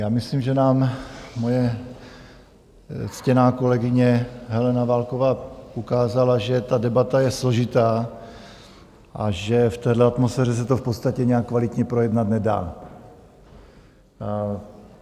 Já myslím, že nám moje ctěná kolegyně Helena Válková ukázala, že ta debata je složitá a že v téhle atmosféře se to v podstatě nějak kvalitně projednat nedá.